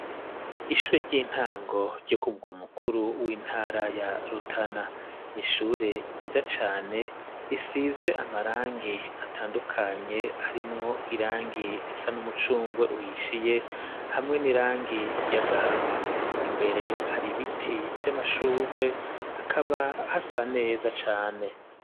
ishure ry'intango ryo kumugwa mukuru w'intara ya Rutana, ni ishure ryiza cane risize amarangi atandukanye harimwo irangi risa n'umucungwe uhishiye hamwe n'irangi ry,agahama, imbere hari ibiti vy'amashugwe hakaba hasa neza cane.